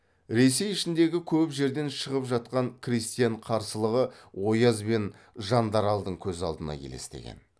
ресей ішіндегі көп жерден шығып жатқан крестьян қарсылығы ояз бен жандаралдың көз алдына елестеген